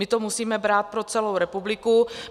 My to musíme brát pro celou republiku.